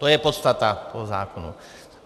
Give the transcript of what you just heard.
To je podstata toho návrhu.